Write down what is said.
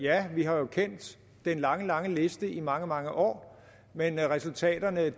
at vi har kendt den lange lange liste i mange mange år men resultaterne